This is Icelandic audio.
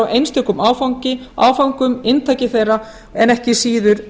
og endurskilgreiningar á einstökum áföngum inntaki þeirra en ekki síður